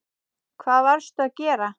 Hvað varstu að gera?